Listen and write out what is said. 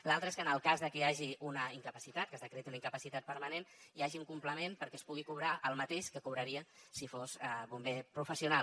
l’altra és que en el cas de que hi hagi una incapacitat que s’acrediti una incapacitat permanent hi hagi un complement perquè es pugui cobrar el mateix que cobraria si fos bomber professional